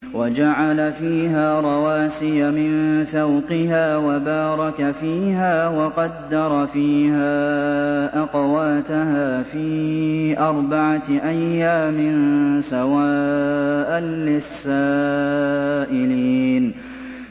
وَجَعَلَ فِيهَا رَوَاسِيَ مِن فَوْقِهَا وَبَارَكَ فِيهَا وَقَدَّرَ فِيهَا أَقْوَاتَهَا فِي أَرْبَعَةِ أَيَّامٍ سَوَاءً لِّلسَّائِلِينَ